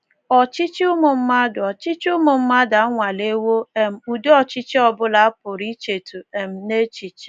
Ọchịchị ụmụ mmadụ Ọchịchị ụmụ mmadụ anwalewo um ụdị ọchịchị ọ bụla a pụrụ ichetụ um n’echiche.